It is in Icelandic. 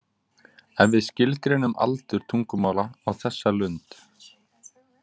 Ef við skilgreinum aldur tungumála á þessa lund.